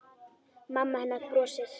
Mamma hennar brosir.